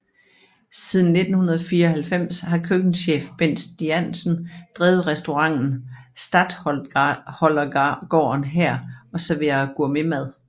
Siden 1994 har køkkenchef Bent Stiansen drevet restauranten Statholdergaarden her og serverer gourmetmad